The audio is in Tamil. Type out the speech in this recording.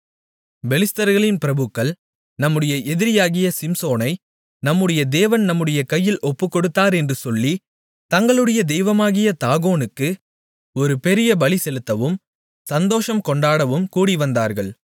பெலிஸ்தர்களின் பிரபுக்கள் நம்முடைய எதிரியாகிய சிம்சோனை நம்முடைய தேவன் நம்முடைய கையில் ஒப்புக்கொடுத்தார் என்று சொல்லி தங்களுடைய தெய்வமாகிய தாகோனுக்கு ஒரு பெரிய பலிசெலுத்தவும் சந்தோஷம் கொண்டாடவும் கூடிவந்தார்கள்